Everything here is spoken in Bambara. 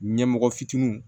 Ɲɛmɔgɔ fitininw